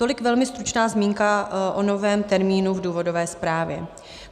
Tolik velmi stručná zmínka o novém termínu v důvodové zprávě.